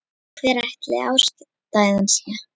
Og hver ætli ástæðan sé?